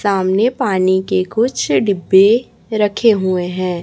सामने पानी के कुछ डिब्बे रखें हुए हैं।